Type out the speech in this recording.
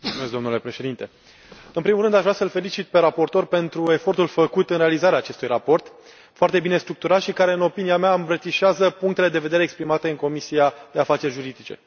Domnule președinte, în primul rând aș vrea să îl felicit pe raportor pentru efortul făcut în realizarea acestui raport foarte bine structurat și care, în opinia mea, îmbrățișează punctele de vedere exprimate în cadrul Comisiei pentru afaceri juridice.